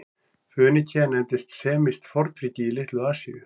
Fönikía nefndist semískt fornríki í Litlu-Asíu.